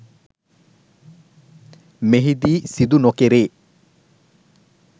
මෙහිදී සිදු නොකෙරේ